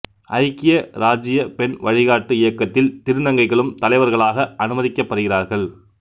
ஐக்கிய இராச்சிய பெண் வழிகாட்டி இயக்கத்தில் திருநங்கைகளும் தலைவர்களாக அனுமதிக்கப்படுகிறார்கள்